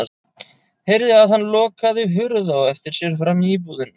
Heyrði að hann lokaði hurð á eftir sér frammi í íbúðinni.